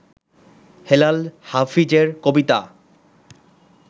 হেলাল হাফিজের কবিতা